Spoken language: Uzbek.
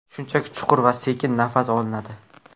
Shunchaki chuqur va sekin nafas olinadi.